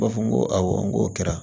U b'a fɔ n ko awɔ n k'o kɛra